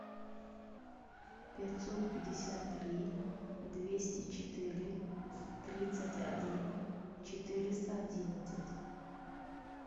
пятьсот пятьдесят три двести четыре тридцать один четыреста одиннадцать